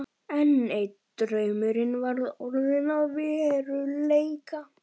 Enn einn draumurinn var orðinn að veruleika.